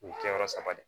U ye kɛ yɔrɔ saba de